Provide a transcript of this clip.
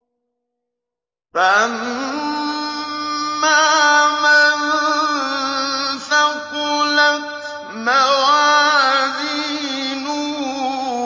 فَأَمَّا مَن ثَقُلَتْ مَوَازِينُهُ